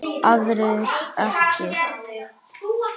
Aðrir ekki.